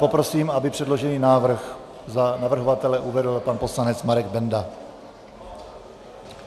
Poprosím, aby předložený návrh za navrhovatele uvedl pan poslanec Marek Benda.